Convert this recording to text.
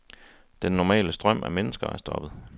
Den normale strøm af mennesker er stoppet.